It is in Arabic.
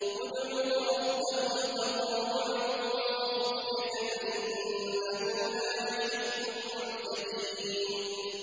ادْعُوا رَبَّكُمْ تَضَرُّعًا وَخُفْيَةً ۚ إِنَّهُ لَا يُحِبُّ الْمُعْتَدِينَ